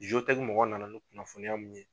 mɔgɔw na na ni kunnafoniya mun ye.